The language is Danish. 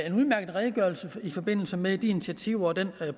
en udmærket redegørelse i forbindelse med de initiativer og den